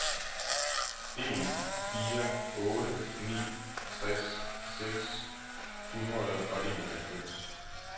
en fire otte ni tres seks hundrede og enoghalvfems